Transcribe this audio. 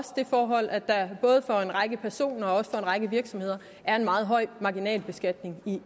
det forhold at der både for en række personer og også for en række virksomheder er en meget høj marginalbeskatning